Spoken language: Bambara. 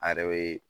A yɛrɛ be